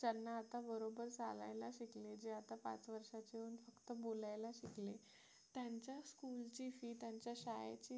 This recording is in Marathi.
त्यांना आता बरोबर चालायला शिकणे जे आता पाच वर्षाचे होऊन फक्त आता बोलायला शिकले त्यांच्या school ची fee त्यांच्या शाळेची fee